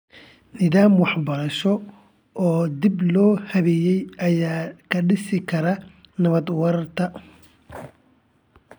Nidaam waxbarasho oo dib loo habeeyay ayaa ka dhisi kara nabad waarta.